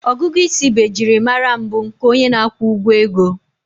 Ọgụgụ isi bụ ejiri mara mbụ nke onye na-akwụ ụgwọ ego